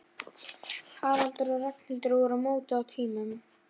Haraldur og Ragnhildur voru mótuð á tímum